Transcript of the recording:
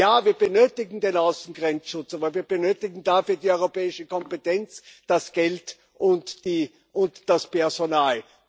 Ja, wir benötigen den Außengrenzschutz, aber wir benötigen dafür die europäische Kompetenz, das Geld und das Personal.